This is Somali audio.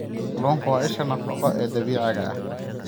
Kalluunku waa isha nafaqo ee dabiiciga ah.